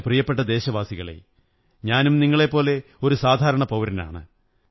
എന്റെ പ്രിയപ്പെട്ട ദേശവാസികളേ ഞാനും നിങ്ങളെപ്പോലെ ഒരു സാധാരണ പൌരനാണ്